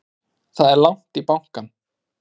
Það er langt í bankann!